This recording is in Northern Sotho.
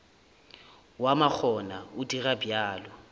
wa makgona o dira bjalo